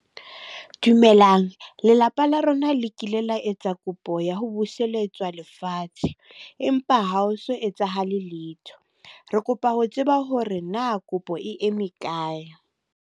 Dumelang, lelapa la rona le kile la etsa kopo ya ho buseletswa lefatshe. Empa ha o so etsahale letho. Re kopa ho tseba hore na kopo e eme kae.